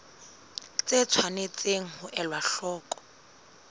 tse tshwanetseng ho elwa hloko